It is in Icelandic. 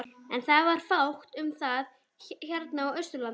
En það var fátt um það hérna á Austurlandi.